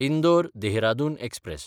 Indore Dehradun express